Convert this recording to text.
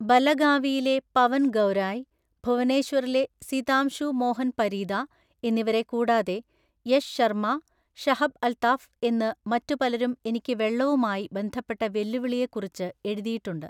ബലഗാവിയിലെ പവന്‍ ഗൗരായി, ഭുവനേശ്വറിലെ സിതാംശു മോഹന്‍ പരീദാ എന്നിവരെ കൂടാതെ യശ് ശര്‍മ്മാ, ഷഹബ് അല്‍ത്താഫ് എന്നു മറ്റു പലരും എനിക്ക് വെള്ളവുമായി ബന്ധപ്പെട്ട വെല്ലുവിളിയെക്കുറിച്ച് എഴുതിയിട്ടുണ്ട്.